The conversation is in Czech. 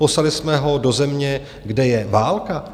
Poslali bychom ho do země, kde je válka?